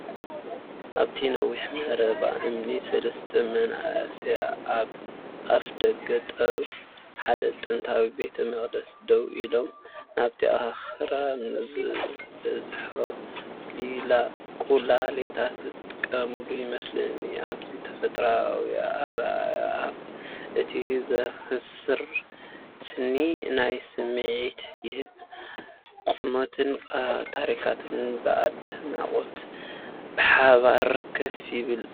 ኣብቲ ነዊሕ መረባ እምኒ፡ ሰለስተ መንእሰያት ኣብ ኣፍደገ ሓደ ጥንታዊ ቤተ መቕደስ ደው ኢሎም፡ ናብቲ ኣኽራን ዝበዝሖ ቈላታት ዝጥምቱ ይመስሉ። እቲ ተፈጥሮኣዊ ኣረኣእያን እቲ ዘስክር ስኒት ናይቲ ስምዒት ይህብ።“ቁመትን ታሪኽን ብኣድናቖት ብሓባር ኮፍ ይብሉ።”